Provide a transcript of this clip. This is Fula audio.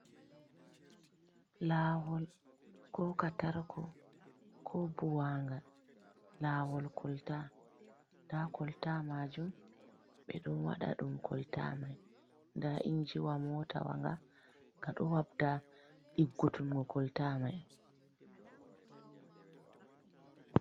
Lawol koka tarko ko buwanga lawol kolta nda kolta majum ɓe ɗon waɗa ɗum kolta mai nda injiwa mota wanga ga ɗo wabda ɗiggutungo kolta mai.